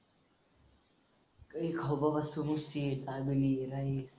काही खाऊ बघ मस्त rice.